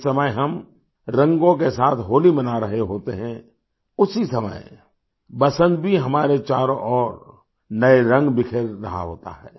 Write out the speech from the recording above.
जिस समय हम रंगों के साथ होली मना रहे होते हैं उसी समय बसन्त भी हमारे चारों ओर नए रंग बिखेर रहा होता है